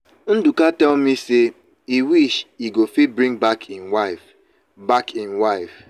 ndụka tell me say e wish he go fit bring back im wife. back im wife.